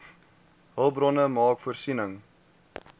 hulpbronne maak voorsiening